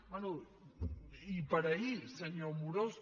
bé i per ahir senyor amorós